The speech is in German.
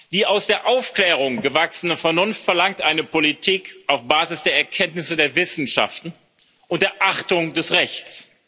Die aus der Aufklärung gewachsene Vernunft verlangt eine Politik auf Basis der Erkenntnisse der Wissenschaften und der Achtung des Rechts.